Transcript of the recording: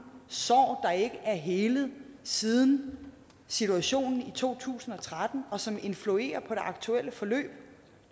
sår der ikke er hele siden situationen i to tusind og tretten og som influerer på det aktuelle forløb